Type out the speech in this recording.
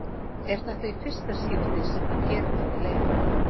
Er þetta í fyrsta skipti sem hann gerir þetta í leik?